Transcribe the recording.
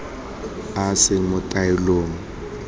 a a seng mo taolong